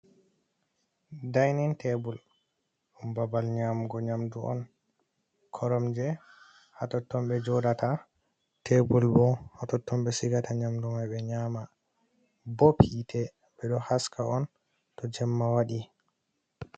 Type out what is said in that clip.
Dainin tebul, babal nƴamugo nƴamdu on. Koromje haa totton ɓe joɗata, tebur bo haa totton ɓe sigata nƴamdu mai ɓe nƴama. Bob hiite, ɓe ɗo haska on to jemma waɗi.